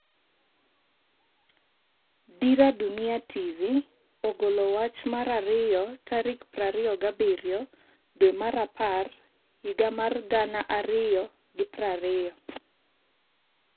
Dira Dunia TV ogolo wach mar ariyo tarik 27/10/2020